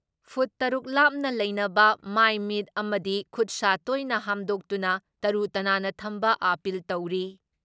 Food truck ꯂꯥꯞꯅ ꯂꯩꯅꯕ, ꯃꯥꯏ ꯃꯤꯠ ꯑꯃꯗꯤ ꯈꯨꯠ ꯁꯥ ꯇꯣꯏꯅ ꯍꯥꯝꯗꯣꯛꯇꯨꯅ ꯇꯔꯨ ꯇꯅꯥꯟꯅ ꯊꯝꯕ ꯑꯥꯄꯤꯜ ꯇꯧꯔꯤ ꯫